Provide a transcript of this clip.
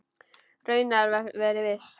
Raunar verið viss.